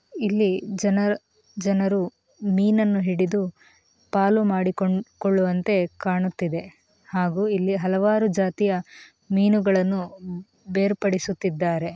ಇಲ್ಲಿ ಜನರು ಮೀನನ್ನು ಹಿಡಿದು ಪಾಲು ಮಾಡಿ ಕೊಳ್ಳುವಂತೆ ಕಾಣುತ್ತಿದೆ ಹಾಗು ಇಲ್ಲಿ ಹಲವಾರು ಜಾತಿಯ ಮೀನುಗಳನ್ನು ಬೇರ್ಪಡಿಸುತ್ತಿದ್ದಾರೆ.